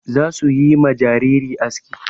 Za su yi ma jariri aski.